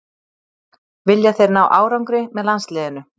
Vilja þeir ná árangri með landsliðinu